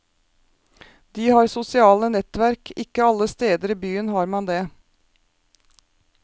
De har sosiale nettverk, ikke alle steder i byen har man det.